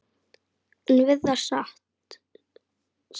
En við það sat.